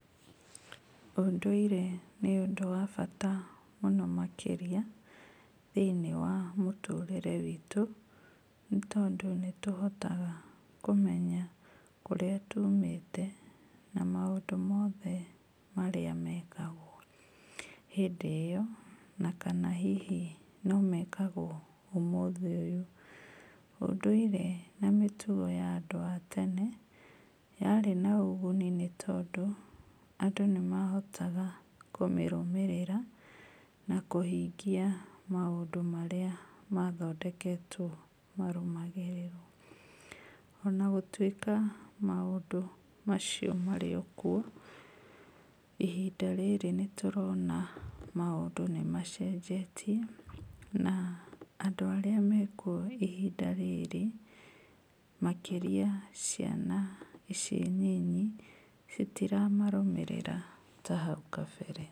Ũndũire nĩ ũndũ wabata mũno makĩria, thĩinĩ wa mũtũrĩre witũ, nĩũndũ nĩtũhotaga kũmenya kũrĩa tumĩte, maũndũ mothe marĩa mekagwo hĩndĩ ĩyo, na kana hihi nomekagwo ũmũthĩ ũyũ. Ũndũire na mĩtugo ya andũ a tene, yarĩ na ũguni nĩ tondũ, andũ nĩmahotaga kũmĩrũmĩrĩra, na kũhingia maũndũ marĩa mathondeketwo marũmagĩrĩrwo. Ona gũtuĩka maũndũ macio marĩ okwo, ihinda rĩrĩ nĩ tũrona maũndũ nĩmacenjetie, na andũ arĩa mekuo ihinda rĩrĩ, makĩria ciana ici nyinyi, citiramarũmĩrĩra ta hau kabere.